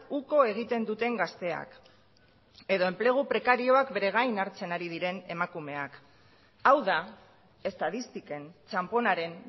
uko egiten duten gazteak edo enplegu prekarioak bere gain hartzen ari diren emakumeak hau da estatistiken txanponaren